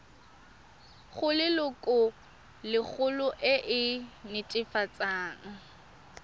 go lelokolegolo e e netefatsang